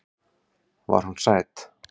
Var hún sæt?